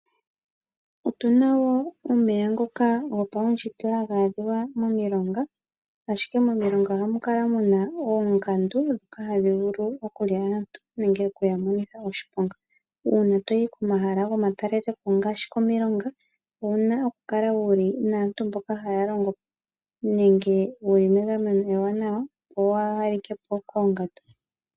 Otuna wo omeya ngoka gopaushitwe ha ga adhika momilonga. Momilonga ohamu kala mu na oongandu ndhoka hadhi vulu okulya aantu nenge oku ya monitha oshiponga. Uuna toyi komahala gomatalelepo ngaashi komilonga owuna oku kala wu li naantu mboka haya longo po nenge wu li megameno ewanawa opo waa ha like po koongandu.